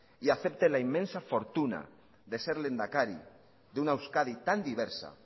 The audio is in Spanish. y acepte la inmensa fortuna de ser lehendakari de una euskadi tan diversa